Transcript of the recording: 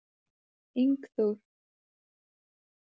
Ingþór